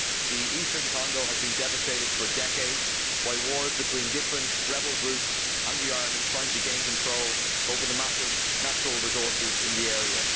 The eastern Congo has been devastated for decades by wars between different rebel groups and the army trying to gain control over the massive natural resources in the area.